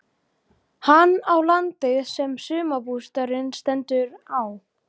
Hann á landið sem sumarbústaðurinn stendur á.